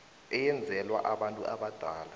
eyenzelwa abantu abadala